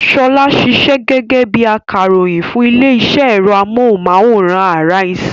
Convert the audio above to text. Ṣọlá ṣiṣẹ́ gẹ́gẹ́ bí i akàròyìn fún ilé-iṣẹ́ ẹ̀rọ amóhùmáwòhán Arise.